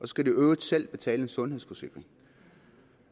skal de i øvrigt selv betale en sundhedsforsikring